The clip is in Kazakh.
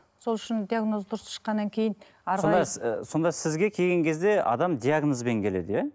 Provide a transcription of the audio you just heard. сол шын диагноз дұрыс шыққаннан кейін сонда сонда сізге келген кезде адам диагнозбен келеді иә